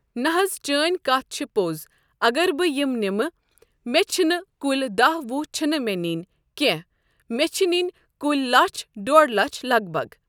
نہ حظ چأنۍ کَتھ چھِ پوٚز اگر بہٕ یِم نِمہٕ مےٚ چھِنہٕ کُلۍ دہ وُہ چھِنہٕ مےٚ نِنۍ کینٛہہ مےٚ چھِ نِنۍ کُلۍ لَچھ ڈۄڑ لَچھ لگ بگ۔